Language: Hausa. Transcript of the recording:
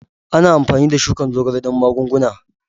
Ana amfani da shukar zogale don magunguna.